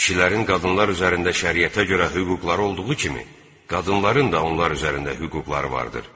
Kişilərin qadınlar üzərində şəriətə görə hüquqları olduğu kimi, qadınların da onlar üzərində hüquqları vardır.